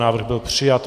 Návrh byl přijat.